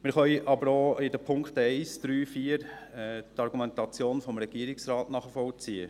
Wir können aber bei den Punkten 1, 3 und 4 auch die Argumentation des Regierungsrates nachvollziehen.